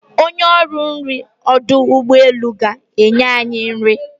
Onye ọrụ nrị ọdụ ụgbọeluga-enye nri.